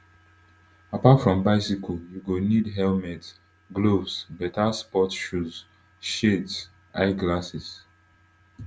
apart from bicycle you go need helmet gloves beta sports shoes shades eye glasses